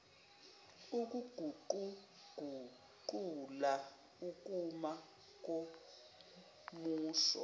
ukuguquguqula ukuma komusho